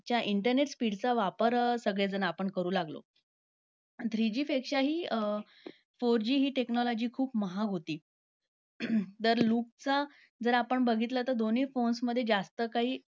च्या internet speed चा वापर सगळेजण आपण करू लागलो. आणि three G पेक्षा हि four G हि technology महाग होती. तर loop चा जर आपण बघितला तर दोन्ही phones मध्ये जास्त काही